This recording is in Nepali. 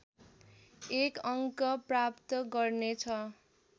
एक अङ्क प्राप्त गर्नेछ